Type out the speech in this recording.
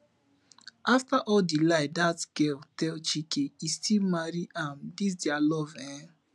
after all the lie that girl tell chike e still marry am dis dia love eh